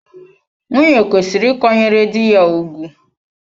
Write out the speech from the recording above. Nwunye kwesịrị ị ịkwanyere dị ya ùgwù.